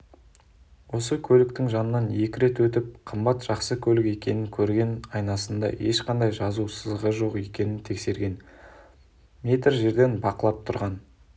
осы көліктің жанынан екі рет өтіп қымбат жақсы көлік екенін көрген айнасында ешқандай жазу-сызу жоқ екенін тексерген метр жерден бақылап тұрған